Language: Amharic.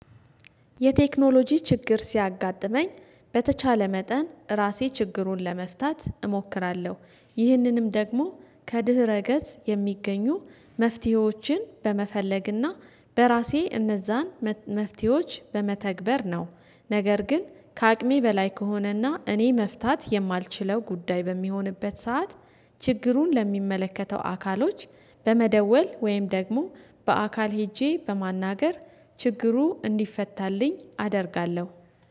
የቴክኖሎጂ ችግር ሲያጋጥመኝ በተቻለ መጠን ራሴ ችግሩን ለመፍታት እሞክራለሁ ይህንንም ደግሞ ከድህረ ገጽ የሚገኙ መፍትሄዎችን በመፈለግና በራሴ እነዛን መፍትሄዎች በመተግበር ነው። ነገር ግን ከአቅሜ በላይ ከሆነና እኔ መፍታት የማልችለው ጉዳይ በሚሆንበት ሰዓት ችግሩን ለሚመለከተው አካሎች በመደወል ወይም ደግሞ በአካል ሄጄ በማናገር ችግሩ እንዲፈታልኝ አደርጋለሁ